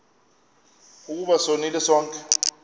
ukuba sonile sonke